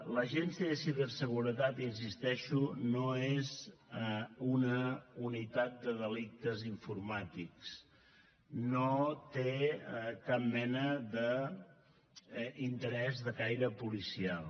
l’agència de ciberseguretat hi insisteixo no és una unitat de delictes informàtics no té cap mena d’interès de caire policial